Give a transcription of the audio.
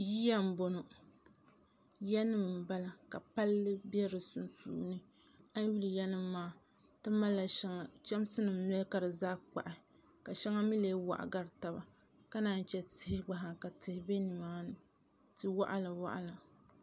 yiya m-bɔŋɔ yanima m-bala ka palli be di sunsuuni a yi nya yanima maa ti malila shɛŋa chamsinima noli ka fi zaa kpahi ka shɛŋa mi lee waɣa gari taba ka naan che tihi gba ka tihi be nimaani ti' waɣilawaɣila